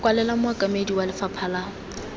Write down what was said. kwalela mookamedi wa lefapha la